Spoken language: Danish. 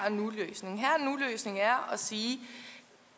og nu løsning er at sige